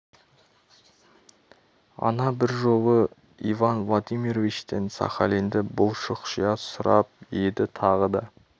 ана бір жолы иван владимировичтен сахалинді бұл шұқшия сұрап еді тағы да